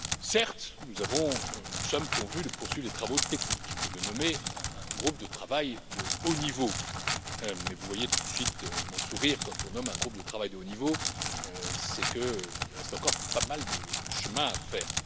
Certes, nous sommes convenus de poursuivre les travaux techniques et de nommer un groupe de travail de haut niveau, mais vous voyez tout de suite mon sourire quand on nomme un groupe de travail de haut niveau, c'est qu'il reste encore pas mal de chemin à faire.